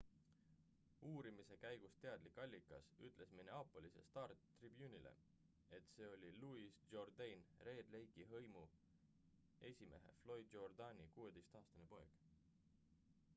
uurimise käigust teadlik allikas ütles minneapolise star-tribune'ile et see oli louis jourdain red lake'i hõimu esimehe floyd jourdaini 16-aastane poeg